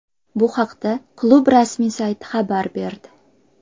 Bu haqda klub rasmiy sayti xabar berdi .